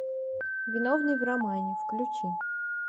виновный в романе включи